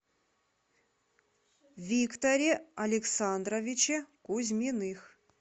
викторе александровиче кузьминых